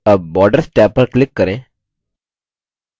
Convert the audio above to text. tab borders tab पर click करें